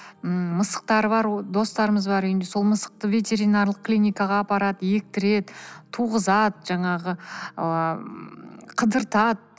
ммм мысықтары бар достарымыз бар үйінде сол мысықты ветеринарлық клиникаға апарады ектіреді туғызады жаңағы ыыы қыдыртады